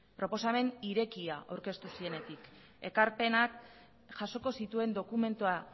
proposamen irekia aurkeztu zienetik ekarpenak jasoko zituen dokumentua